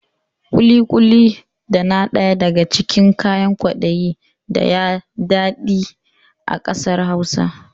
Ƙuli-ƙuli dana daya daga cikin kayan kwaɗayi daya daɗe a ƙasar Hausa